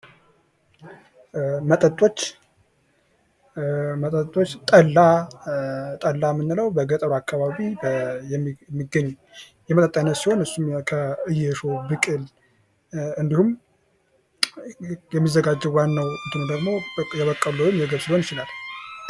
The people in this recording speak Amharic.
መጠጦች መጠጦች ጠላ ጠላ የምንለው በገጠሩ አካባቢ የሚገኝ የመጠጥ አይነት ሲሆን እሱም ከጌሾ ብቅል እንዲሁም የሚዘጋጀው ዋናው እንትኑ ደግሞ የበቆሎ ወይም የገብስ ሊሆን ይችላል::